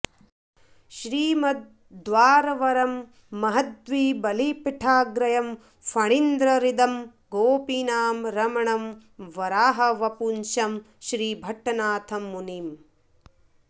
श्रीमद् द्वारवरं महद्धि बलिपीठाग्र्यं फणीन्द्रहृदं गोपीनां रमणं वराहवपुषं श्रीभट्टनाथं मुनिम्